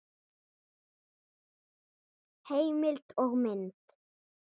Heimild og mynd